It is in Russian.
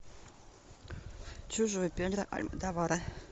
чужой педро альмодовара